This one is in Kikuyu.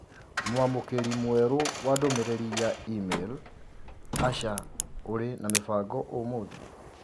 Mũamũkĩri mwerũ wa ndũmĩrĩri ya i-mīrū Asha ũrĩ na mĩbango ũmũthĩ